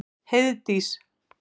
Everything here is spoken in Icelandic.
Heiðdís